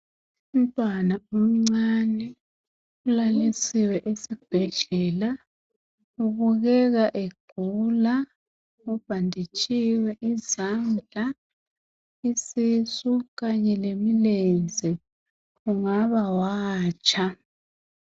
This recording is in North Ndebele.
Umntwana omncane ulalisiwe esibhedlela ubukeka egula. Ubhanditshiwe izandla, isisu, kanye lemilenze kungaba watsha.